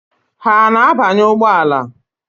Ha ana-abanye ụgbọala?